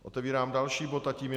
Otevírám další bod a tím je